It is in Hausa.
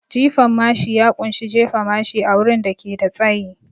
Jifan mashi ya kunshi jefa mashi a wurin da ke da tsayi